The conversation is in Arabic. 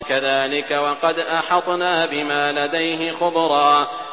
كَذَٰلِكَ وَقَدْ أَحَطْنَا بِمَا لَدَيْهِ خُبْرًا